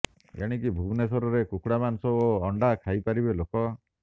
ଏଣିକି ଭୁବନେଶ୍ବରରେ କୁକୁଡ଼ା ମାଂସ ଓ ଅଣ୍ଡା ଖାଇପାରିବେ ଲୋକ